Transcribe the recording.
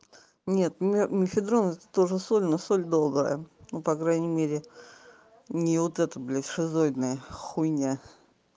нет мефедрон это тоже соль но соль добрая ну по крайней мере не вот эта блядь шизоидная хуйня